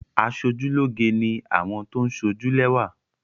Aṣojúlóge ni àwọn tó ń sójú lẹ́wà.